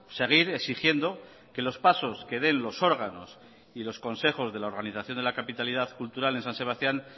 seguir exigiendo que los pasos que den los órganos y los consejos de la organización de la capitalidad cultural en san sebastián